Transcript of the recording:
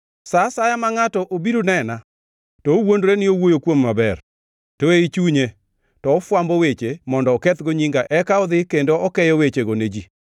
Sa asaya ma ngʼato obiro nena, to owuondore ni owuoyo kuoma maber, to ei chunye to ofwambo weche, mondo okethgo nyinga eka oa odhi kendo okeyo wechego ne ji.